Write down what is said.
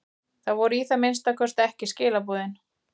Það voru í það minnsta ekki skilaboðin.